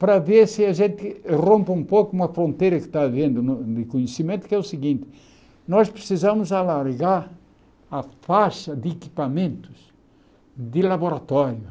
Para ver se a gente rompe um pouco uma fronteira que está havendo no de conhecimento, que é o seguinte, nós precisamos alargar a faixa de equipamentos de laboratório.